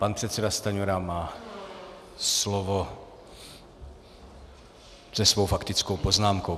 Pan předseda Stanjura má slovo se svou faktickou poznámkou.